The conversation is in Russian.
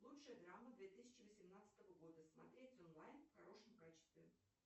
лучшая драма две тысячи восемнадцатого года смотреть онлайн в хорошем качестве